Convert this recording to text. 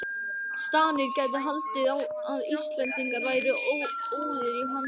DANIR gætu haldið að Íslendingar væru óðir í handrit.